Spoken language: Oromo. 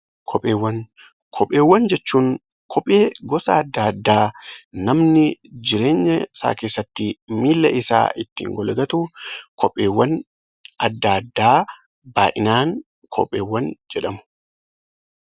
Kopheewwan Kopheewwan jechuun kophee gosa adda addaa namni jireenya isaa keessatti miilla isaa ittiin golgatu kopheewwan addaa addaa baay'inaan 'Kopheewwan' jedhamu.